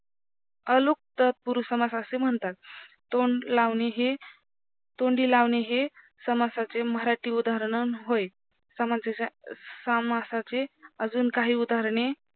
अलुक तत्पुरुष समास असे म्हणतात तोंड लावणे हे तोंडी लावले हे समासाचे मराठी उदाहरण होय समासाचे अजून काही उदाहरणे